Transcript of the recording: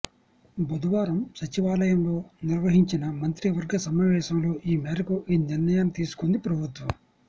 బుధవారం సచివాలయంలో నిర్వహించిన మంత్రివర్గ సమావేశంలో ఈ మేరకు ఈ నిర్ణయాన్ని తీసుకుంది ప్రభుత్వం